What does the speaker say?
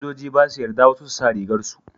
sojoji ba su yarda wasu su sa rigar su